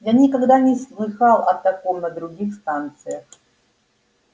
я никогда не слыхал о таком на других станциях